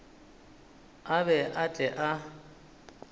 a be a tle a